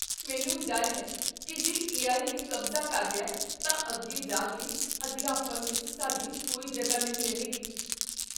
ਮੈਨੂੰ ਡਰ ਹੈ ਕੀ ਜੇ ਏ.ਆਈ. ਨੇ ਕਬਜ਼ਾ ਕਰ ਲਿਆ ਤਾਂ ਅੱਗੇ ਜਾ ਕੇ ਅਧਿਆਪਨ ਵਿੱਚ ਸਾਡੀ ਕੋਈ ਜਗ੍ਹਾ ਨਹੀਂ ਰਹੇਗੀ।